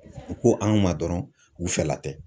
U ko an ma dɔrɔn u fɛla tɛ.